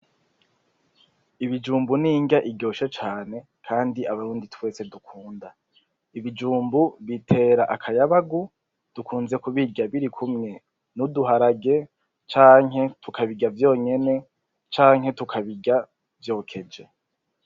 Ibijumbu n'inrya iryoshe cane kandi abarundi twese dukunda ,ibijumbu bitera akayabagu dukunze kubirya birikumwe n'uduharage canke tukabirya vyonyene canke tukabirya vyokeje .